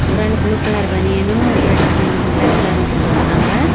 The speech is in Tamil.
ஒரு ஆளு ப்ளூ கலர் பனியனு ரெட் ம் பிளாக் கலர் நிக்கர் போட்ருக்காங்க.